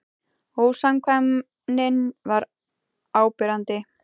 Ósamkvæmnin var áberandi.